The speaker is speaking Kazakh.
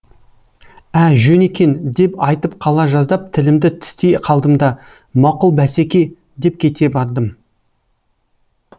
ә жөн екен деп айтып қала жаздап тілімді тістей қалдым да мақұл басеке деп кете бардым